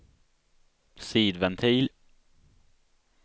sidventil